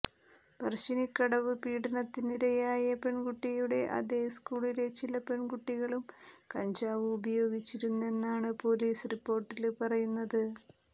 പറശ്ശിനിക്കടവ് പീഡനത്തിനിരയായ പെണ്കുട്ടിയും അതേ സ്കൂളിലെ ചില പെണ്കുട്ടികളും കഞ്ചാവ് ഉപയോഗിച്ചിരുന്നെന്നാണ് പൊലീസ് റിപ്പോര്ട്ടില് പറയുന്നത്